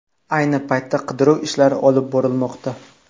Ayni paytda qidiruv ishlari olib borilmoqda.